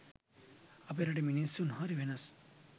අපේ රටේ මිනිස්සු හරි වෙනස්